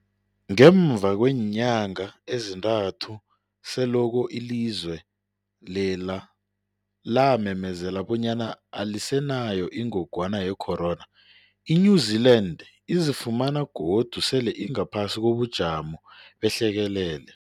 Ngemva kweenyanga ezintathu selokhu ilizwe lela lamemezela bonyana alisenayo ingogwana ye-corona, i-New-Zealand izifumana godu sele ingaphasi kobujamo behlekelele.